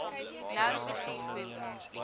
nou besef hoe